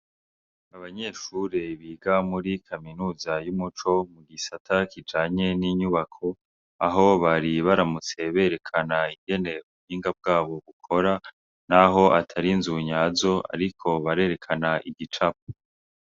Abanyeshure biga muri kaminuza y'umuco mu gisata kijanye n'inyubako, aho bari baramutse berekana ingene ubuhinga bwabo bukora n'aho atari inzu nyazo ariko barerekana igicapo.